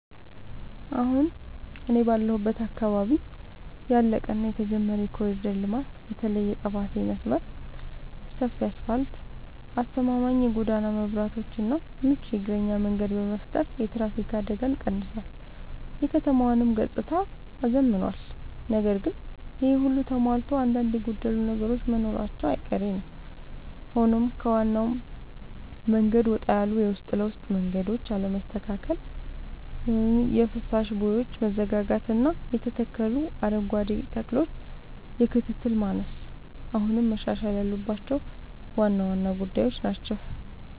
አሁን እኔ ባለሁበት አካባቢ ያለቀ እና የተጀመረ የኮሪደር ልማት (በተለይ የጠባሴ መስመር) ሰፊ አስፋልት: አስተማማኝ የጎዳና መብራትና ምቹ የእግረኛ መንገድ በመፍጠር የትራፊክ አደጋን ቀንሷል: የከተማዋንም ገጽታ አዝምኗል። ነገር ግን ይሄ ሁሉ ተሟልቶ አንዳንድ የጎደሉ ነገሮች መኖራቸው አይቀሬ ነዉ ሆኖም ከዋናው መንገድ ወጣ ያሉ የውስጥ ለውስጥ መንገዶች አለመስተካከል: የፍሳሽ ቦዮች መዘጋጋትና የተተከሉ አረንጓዴ ተክሎች የክትትል ማነስ አሁንም መሻሻል ያለባቸው ዋና ዋና ጉዳዮች ናቸው።